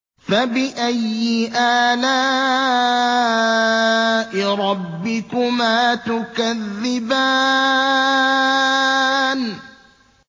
فَبِأَيِّ آلَاءِ رَبِّكُمَا تُكَذِّبَانِ